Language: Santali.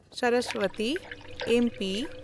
ᱥᱚᱨᱚᱥᱵᱚᱛᱤ (ᱮᱢᱯᱤ)